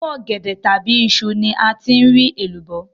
Inú ọ̀gẹ̀dẹ̀ tàbí iṣu ni a ti rí èlùbọ́